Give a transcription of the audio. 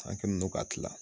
An kelen don ka kilan.